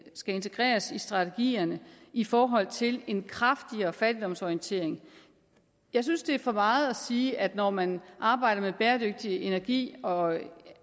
skal integreres i strategierne i forhold til en kraftigere fattigdomsorientering jeg synes det er for meget at sige at man når man arbejder med bæredygtig energi og